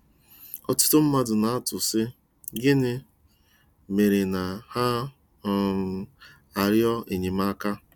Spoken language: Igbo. Ọtụtụ mmadụ na-atụ, sị: gịnị mere na ha um arịọ enyemaka.